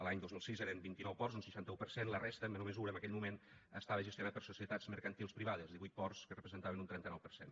l’any dos mil sis eren vint i nou ports un seixanta un per cent la resta en menor mesura en aquell moment estava gestionat per societats mercantils privades divuit ports que representaven un trenta nou per cent